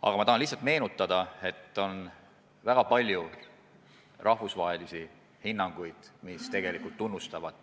Tahan praegu lihtsalt teile meelde tuletada, et on väga palju rahvusvahelisi hinnanguid, mis tunnustavad